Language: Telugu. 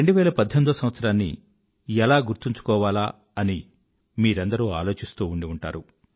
2018వ సంవత్సరాన్ని ఎలా గుర్తుంచుకోవాలా అని మీరందరూ ఆలోచిస్తూ ఉండిఉంటారు